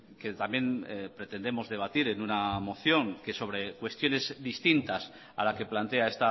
que también pretendemos debatir en una moción que sobre cuestiones distintas a la que plantea